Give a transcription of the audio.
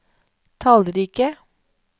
tallrike